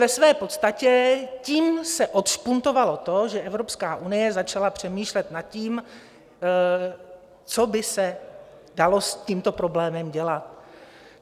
Ve své podstatě tím se odšpuntovalo to, že Evropská unie začala přemýšlet nad tím, co by se dalo s tímto problémem dělat.